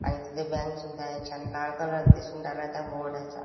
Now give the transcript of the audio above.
आणि तिथे बँक सुद्धा आहे छान लाल कलर दिसून राहिलाय त्या बोर्डा चा.